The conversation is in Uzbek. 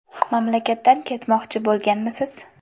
Mamlakatdan ketmoqchi bo‘lganmisiz?